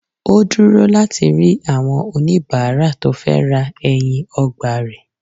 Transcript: Ó dúró láti rí àwọn oníbàárà tó fẹ́ ra ẹyin ọgbà rẹ̀